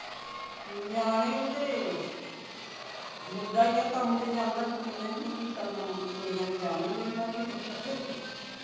ਨਿਆਣੇ ਓਹਦੇ ਮੁੰਡਾ ਹੀ ਆ ਕੰਮ ਤੇ ਜਾਂਦਾ ਕੁੜੀਆਂ ਨੇ ਕਿ ਕਰਨਾ ਮੱਖ ਕੁੜੀਆਂ ਨੂੰ ਜਾਣ ਨਹੀਂ ਦਿੰਦਾ ਕਿਸੇ